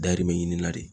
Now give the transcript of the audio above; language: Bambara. Dayirimɛ ɲini na de